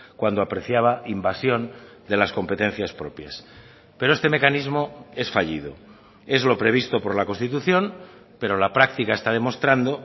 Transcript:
cuando apreciaba invasión de las competencias propias pero este mecanismo es fallido es lo previsto por la constitución pero la practica está demostrando